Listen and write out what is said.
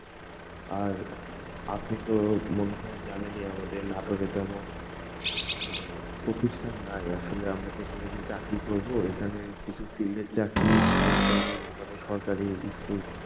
আর আপনি তো মনে হয় জানেনই আমাদের নাটোরে তেমন মানে, প্রতিষ্ঠান নাই, আসলে আমরা যে এখানে এসে চাকরি করবো, এখানে কিছু field এর চাকরি ছাড়া তেমন, মানে সরকারি school